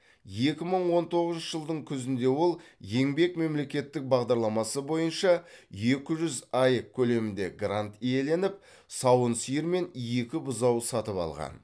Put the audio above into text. екі мың он тоғызыншы жылдың күзінде ол еңбек мемлекеттік бағдарламасы бойынша екі жүз аек көлемінде грант иеленіп сауын сиыр мен екі бұзау сатып алған